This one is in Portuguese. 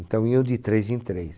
Então iam de três em três.